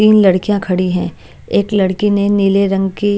तीन लड़कियां खड़ी हैं एक लड़की ने नीले रंग की--